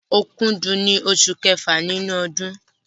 Òkúdù ni oṣù kẹfà nínú ọdún.